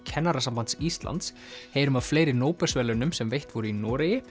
Kennarasambands Íslands heyrum af fleiri nóbelsverðlaunum sem veitt voru í